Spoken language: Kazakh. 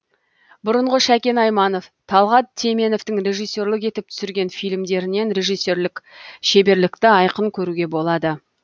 бұрынғы шәкен айманов талғат теменовтың режиссерлік етіп түсірген фильмдерінен режиссерлік шеберлікті айқын көруге болады